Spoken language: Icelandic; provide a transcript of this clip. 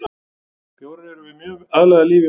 Bjórar erum mjög vel aðlagaðir lífi í vatni.